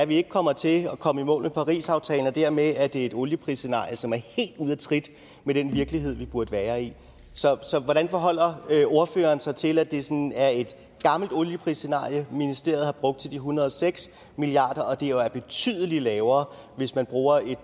vi ikke kommer til at komme i mål med parisaftalen og dermed er det et olieprisscenarie som er helt ude af trit med den virkelighed vi burde være i så så hvordan forholder ordføreren sig til at det sådan er et gammelt olieprisscenarie ministeriet har brugt til de en hundrede og seks milliard jo er betydelig lavere hvis man bruger